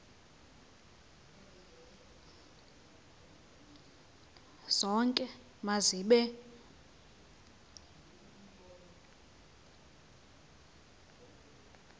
zonke ma zibe